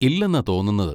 ഇല്ലാന്നാ തോന്നുന്നത്?